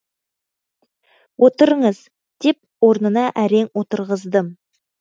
отырыңыз деп орынына әрең отырғыздым